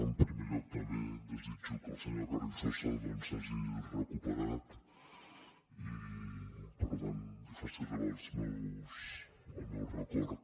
en primer lloc també desitjo que el senyor carrizosa doncs s’hagi recuperat i per tant li faci arribar el meu record